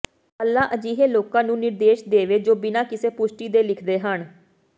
ਅੱਲ੍ਹਾ ਅਜਿਹੇ ਲੋਕਾਂ ਨੂੰ ਨਿਰਦੇਸ਼ ਦੇਵੇ ਜੋ ਬਿਨਾਂ ਕਿਸੇ ਪੁਸ਼ਟੀ ਦੇ ਲਿਖਦੇ ਹਨ